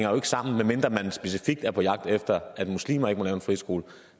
jo ikke sammen medmindre man specifikt er på jagt efter at muslimer ikke må lave en friskole